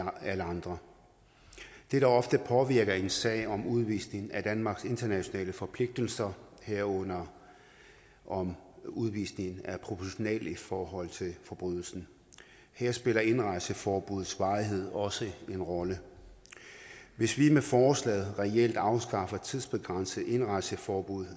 andre det der ofte påvirker en sag om udvisning er danmarks internationale forpligtelser herunder om udvisningen er proportional i forhold til forbrydelsen her spiller indrejseforbuddets varighed også en rolle hvis vi med forslaget reelt afskaffer tidsbegrænset indrejseforbud